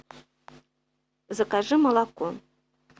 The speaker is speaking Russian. закажи молоко